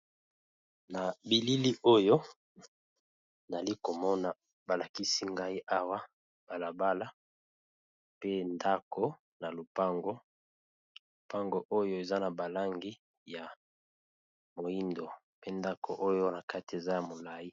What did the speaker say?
Nabilili oyo nazali komona balakisinga awa eza balabala namoni pe ndako eza nakati ya lopango lopango oyo eza nalingi ya mwindu pe ndako wana eza ya molai